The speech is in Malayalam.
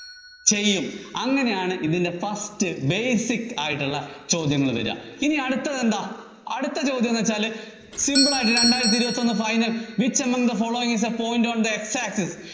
ചെയ്യും. അങ്ങിനെയാണ് ഇതിന്‍റെ first basic ആയിട്ടുള്ള ചോദ്യങ്ങള്‍ വര്വാ. ഇനി അടുത്തെന്താ, അടുത്ത ചോദ്യം എന്നുവച്ചാല് simple ആയിട്ട് രണ്ടായിരത്തി ഇരുപത്തിഒന്ന് final which among the following is the point on the X access